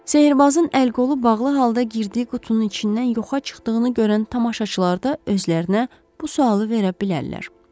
Sehirbazın əl-qolu bağlı halda girdiyi qutunun içindən yoxa çıxdığını görən tamaşaçılar da özlərinə bu sualı verə bilərlər.